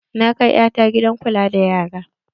Na kai ƴata gidan kula da yara.